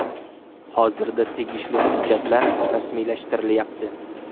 Hozirda tegishli hujjatlar rasmiylashtirilayapti.